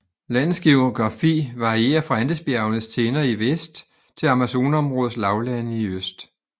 Landets geografi varierer fra Andesbjergenes tinder i vest til Amazonområdets lavlande i øst